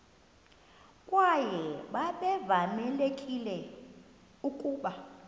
kwaye babevamelekile ukuba